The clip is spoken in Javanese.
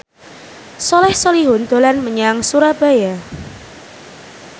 Soleh Solihun dolan menyang Surabaya